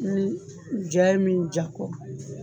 Ni ja mi jakɔ